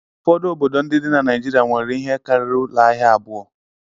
Ụfọdụ obodo ndị dị na Nigeria nwere ihe karịrị ụlọ ahịa abụọ.